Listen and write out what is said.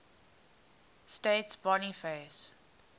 states boniface